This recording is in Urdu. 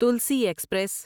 تلسی ایکسپریس